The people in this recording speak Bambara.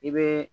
I bɛ